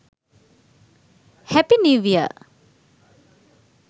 happy new year